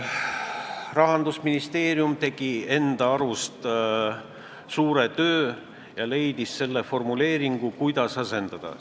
Rahandusministeerium tegi enda arust suure töö ära ja leidis formuleeringu, kuidas seda asendada.